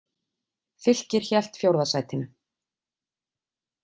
Fylkir hélt fjórða sætinu